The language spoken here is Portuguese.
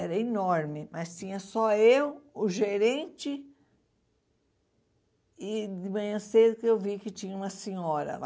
Era enorme, mas tinha só eu, o gerente, e de manhã cedo que eu vi que tinha uma senhora lá.